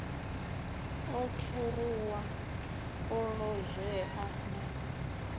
o kheruwa o lozwea na